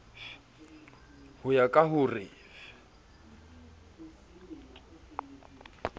ho ya ka ho re